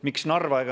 Miks Narva?